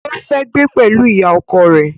Ó fẹ́ gbé pẹ̀lú ìyá ọkọ rẹ̀